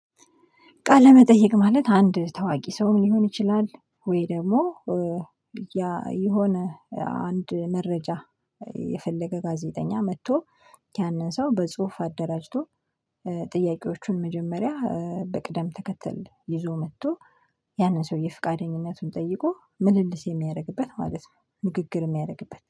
ቃለ መጠየቅ ማለት አንድ ታዋቂ ሰው ሊሆን ይችላል ወይ ደግሞ። የሆነ አንድ መረጃ። የፈለገ ጋዜጠኛ መጥቶ ያንን ሰው በጽሁፍ አደራጅቶ። ጥያቄዎቹን መጀመሪያ በቅደም ተከተል ይዞ መጥቶ። ያንን ሰውዬ ፍቃደኝነቱን ጠይቆ ምልልስ የሚያደርግበት ማለት ነው። ንግግር የሚያደርግበት